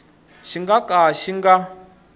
xi nga ka xi nga